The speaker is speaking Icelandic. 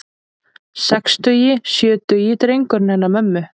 Sextugi, sjötugi drengurinn hennar mömmu.